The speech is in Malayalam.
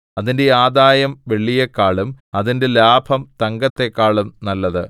അതിന്റെ ആദായം വെള്ളിയെക്കാളും അതിന്റെ ലാഭം തങ്കത്തെക്കാളും നല്ലത്